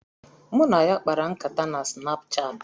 Mụ na ya kpara nkata na Sinapchaati